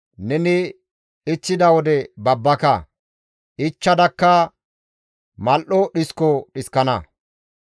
Neni ichchida wode babbaka; ichchadakka mal7o dhisko dhiskana.